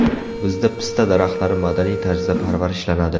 Bizda pista daraxtlari madaniy tarzda parvarishlanadi.